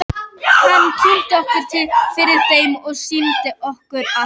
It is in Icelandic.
Hann kynnti okkur fyrir þeim og sýndi okkur allt.